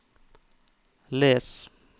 les